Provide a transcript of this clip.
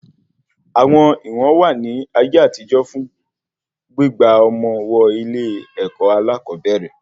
Àwọn ìwọ̀n wà ní ayé àtijó fún gbígba ọmọ wọ ilé-èkó alakobere